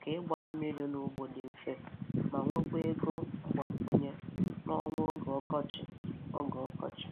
ka ịgba mmiri n’ugbo dị mfe, ma nwekwa ego mgbakwunye n’ọnwa oge ọkọchị. oge ọkọchị.